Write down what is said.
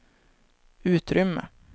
utrymme